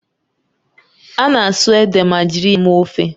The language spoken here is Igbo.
A na-asụ ede ma jiri ya mee ofe